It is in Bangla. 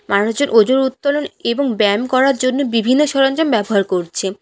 মানুষজন ওজন উত্তোলন এবং ব্যায়াম করার জন্য বিভিন্ন সরঞ্জাম ব্যবহার করছে।